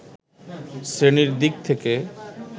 শ্রেণির দিক থেকে